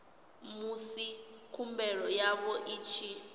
musi khumbelo yavho i tshi